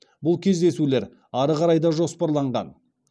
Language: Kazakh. бұл кездесулер ары қарай да жоспарланған